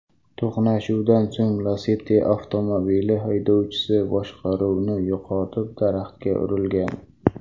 To‘qnashuvdan so‘ng Lacetti avtomobili haydovchisi boshqaruvni yo‘qotib daraxtga urilgan.